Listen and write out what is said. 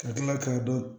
Ka kila k'a dɔn